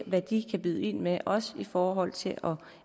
hvad de kan byde ind med også i forhold til